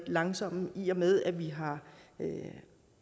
langsomme i og med at vi har